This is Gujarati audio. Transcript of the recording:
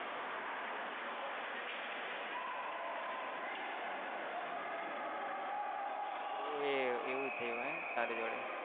એવું હે એવું થયું હે તારી જોડે?